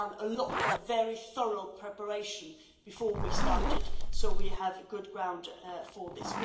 We did a lot of very thorough preparation before we started, so we have a good basis for this.